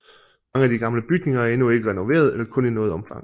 Mange af de gamle bygninger er endnu ikke renoveret eller kun i noget omfang